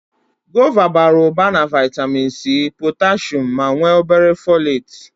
Gova bara ụba na vaịtamịn C, potashum ma nwee o bere fọleetị.